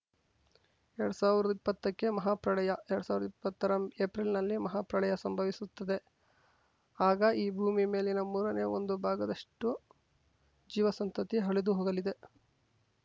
ಎರಡ್ ಸಾವಿರ್ದಾ ಇಪ್ಪತ್ತಕ್ಕೆ ಮಹಾ ಪ್ರಳಯ ಎರಡ್ ಸಾವಿರ್ದಾ ಇಪ್ಪತ್ತರ ಏಪ್ರಿಲ್‌ನಲ್ಲಿ ಮಹಾ ಪ್ರಳಯ ಸಂಭವಿಸುತ್ತದೆ ಆಗ ಈ ಭೂಮಿ ಮೇಲಿನ ಮೂರನೇ ಒಂದು ಭಾಗದಷ್ಟುಜೀವ ಸಂತತಿ ಅಳಿದು ಹೋಗಲಿದೆ